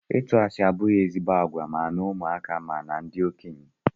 Ịtụ asị abụghị ezigbo àgwà ma na ụmụaka ma na ndị okenye.